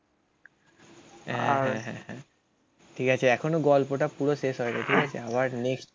ঠিক আছে এখনো গল্পটা পুরো শেষ হয়নি ঠিক আছে আমার নেক্সট